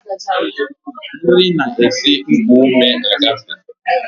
Nri na-esi n'nkuume agafee